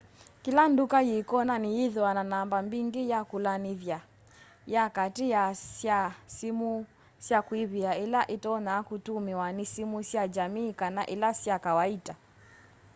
kila nduka yi konani yithiawa na namba mbingi ya kulanithya ya kaati sya simu sya kuivia ila itonya kutumiwa ni simu sya jamii kana ila sya kawaita